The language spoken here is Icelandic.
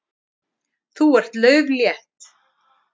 Þú ert lauflétt.